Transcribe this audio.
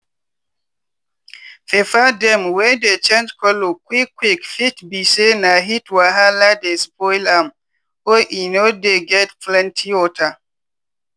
pepper dem wey dey change color quick quick fit be say na heat wahala dey spoil am or e no dey get plenty water.